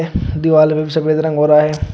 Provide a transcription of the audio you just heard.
दिवाल में सफेद रंग हो रहा है।